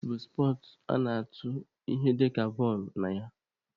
Shọt puutu bụ spọtsụ a na-atụ ihe dịka bọọlụ(shọt) na ya.